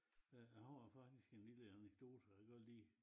Øh jeg har faktisk en lille anekdote jeg godt lige